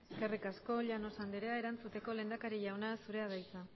eskerrik asko llanos anderea erantzuteko lehendakari jauna zurea da hitza